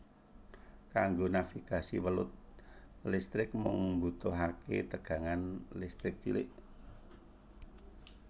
Kanggo navigasi welut listrik mung mbutuhaké tegangan listrik cilik